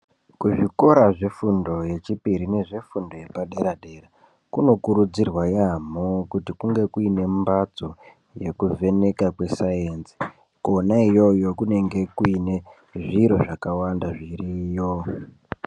Kuzvikora zvefundo yechipiri nezvefundo yepadera -dera kunokurudzirwa yaamho kuti kunge kuine mbatso yekuvheneka kwesainzi ko na iyoyo kunenge kuine zviro zvakawanda zviriyo.